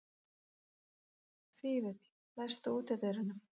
Fífill, læstu útidyrunum.